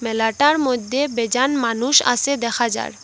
মেলাটার মধ্যে বেজান মানুষ আসে দেখা যার।